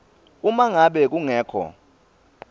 uma ngabe kungekho